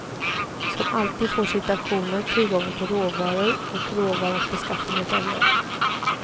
Som alltid får situationen, tillgången på råvaror och råvarans beskaffenhet avgöra.